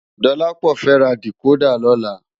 Dolapo fè rá dikódà lòlá